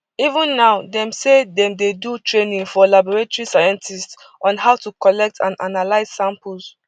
even now dem say dem dey do training for laboratory scientists on how to collect and analyse samples